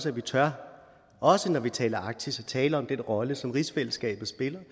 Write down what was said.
at vi tør også når vi taler om arktis at tale om den rolle som rigsfællesskabet spiller